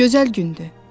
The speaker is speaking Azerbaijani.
Gözəl gündü.